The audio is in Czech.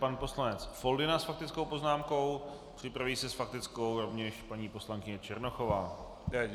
Pan poslanec Foldyna s faktickou poznámkou, připraví se s faktickou rovněž paní poslankyně Černochová.